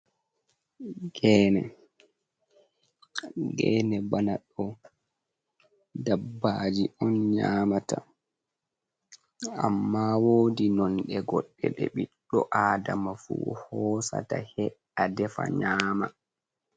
Geene, geene bana ɗo dabbaaji on nyaamata, ammaa woodi nonɗe goɗɗe ɗe ɓiɗɗo Aadama fu ɗo hoosaɗa he'a, defa, nyaama.